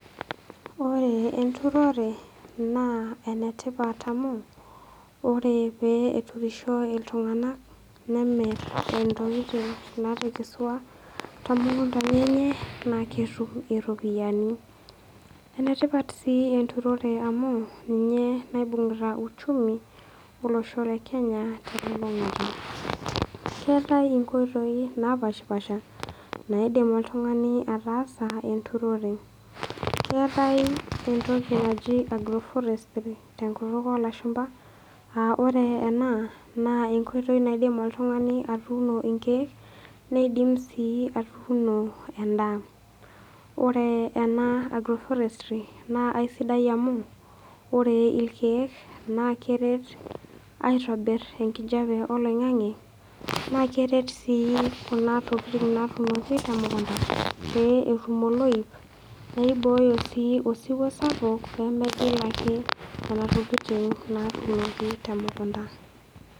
Ore enturore naa ene tipat amu ore pee eturisho iltung'anak nemir intokitin naatekesua too mukundani enye naake etum iropiani. ene tipat sii enturore amu ninye naibung'ita uchumi lolosho le kenya te lulung'ata. Keetai inkoitoi napaashipaasha naidim oltung'ani ataasa enturore, keetai entoki naji agroforestry tenkutuk oo lashumba aa ore ena naa enkoitoi naidim oltung'ani atuuno inkeek nidim sii atuuno endaa. Ore ena agroforestry naa aisidai amu ore irkeek naa keeret aitobir enkijape oloing'ang'e, naake eret sii kuna tokitin naatuunoki te mukunda pee etum oloip naibooyo sii osiwuo sapuk pee megil ake nena tokitin naatunoki te mukunda.